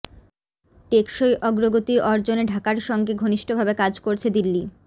টেকসই অগ্রগতি অর্জনে ঢাকার সঙ্গে ঘনিষ্ঠভাবে কাজ করছে দিল্লি